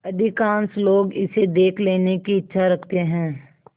अधिकांश लोग इसे देख लेने की इच्छा रखते हैं